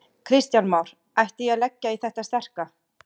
Kristján Már: Ætti ég að leggja í þetta sterka?